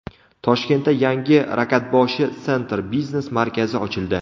Toshkentda yangi Rakatboshi Center biznes markazi ochildi.